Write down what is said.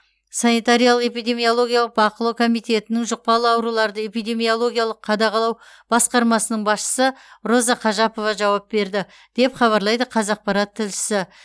санитариялық эпидемиологиялық бақылау комитетінің жұқпалы ауруларды эпидемиологиялық қадағалау басқармасының басшысы роза қожапова жауап берді деп хабарлайды қазақпарат тілшісі